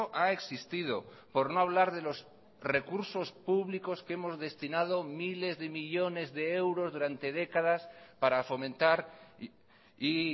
ha existido por no hablar de los recursos públicos que hemos destinado miles de millónes de euros durante décadas para fomentar y